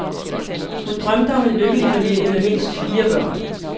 Hun drømte om en lykkelig familie med mindst fire børn.